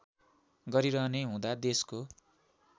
गरिरहने हुँदा देशको